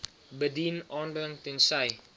bedien aanbring tensy